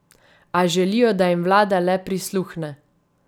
A želijo, da jim vlada le prisluhne.